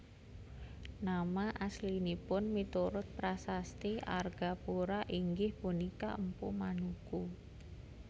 Nama aslinipun miturut prasasti Argapura inggih punika Mpu Manuku